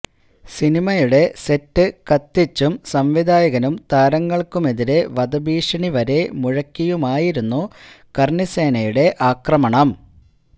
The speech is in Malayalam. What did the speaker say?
സിനിമയുടെ സെറ്റ് കത്തിച്ചും സംവിധായകനും താരങ്ങള്ക്കുമെതിരെ വധഭീഷണി വരെ മുഴക്കിയുമായിരുന്നു കര്ണിസേനയുടെ ആക്രമണം